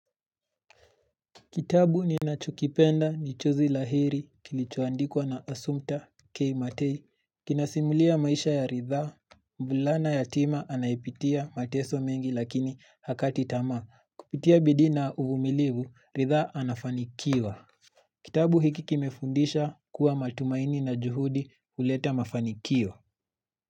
Kitabu ni nachokipenda nichozi la heri kilichoandikwa na asumta kei matei. Kinasimulia maisha ya ritha, mbulana yatima anayeipitia mateso mengi lakini hakati tama. Kupitia bidii na uvumilibu, ritha anafanikiwa. Kitabu hiki kimefundisha kuwa matumaini na juhudi uleta mafanikio.